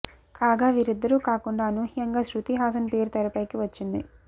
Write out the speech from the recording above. కాగా వీరిద్దరూ కాకుండా అనూహ్యంగా శృతి హాసన్ పేరు తెరపైకి వచ్చింది